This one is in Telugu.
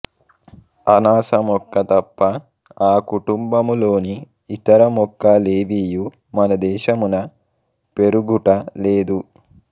అనాస మొక్క తప్ప ఆకుటుంబములోని ఇతర మొక్క లేవియు మనదేశమున పెరుగుట లేదు